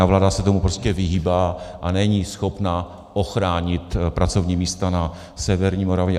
A vláda se tomu prostě vyhýbá a není schopna ochránit pracovní místa na severní Moravě.